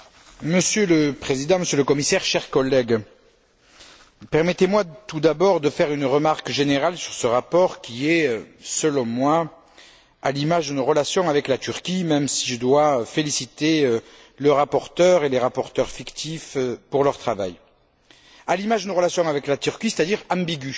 Monsieur le Président, Monsieur le Commissaire, chers collègues, permettez moi tout d'abord de faire une remarque générale sur ce rapport qui est, selon moi, à l'image de nos relations avec la Turquie même si je dois féliciter le rapporteur et les rapporteurs fictifs pour leur travail c'est à dire ambigu.